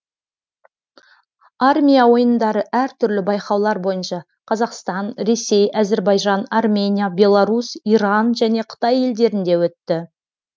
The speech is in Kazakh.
армия ойындары әртүрлі байқаулар бойынша қазақстан ресей әзірбайжан армения беларусь иран және қытай елдерінде өтті